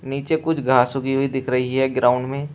नीचे कुछ घास उगी हुई दिख रही है ग्राउंड में।